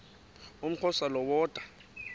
umxhosa lo woda